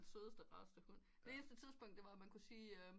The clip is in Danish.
Den sødeste rareste hund det eneste tidspunkt det var at man kunne sige